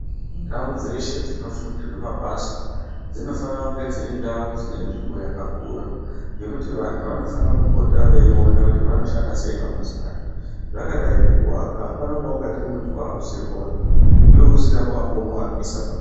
Ndau dzeshe dzinofundirwe mabasa, dzinofanira kunge dziri ndau dzine nzvimbo yakakura, yekuti vantu vanofana kupota veiona kuti vanoshanda sei mabasa acho. Zvakadai ngekuwaka, hapana paungati muntu wakuziye kuwaka iwe usina pawambomuwakisa paka..